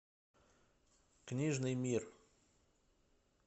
книжный мир